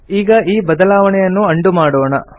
ಈಗ ಈ ಬದಲಾವಣೆಯನ್ನು ಉಂಡೋ ಮಾಡೋಣ